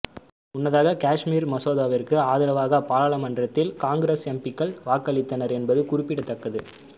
முன்னதாக காஷ்மீர் மசோதாவிற்கு ஆதரவாக பாராளுமன்றத்தில் காங்கிரஸ் எம்பிக்கள் வாக்களித்தனர் என்பது குறிப்பிடத்தக்கது